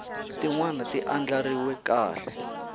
tin wana ti andlariwe kahle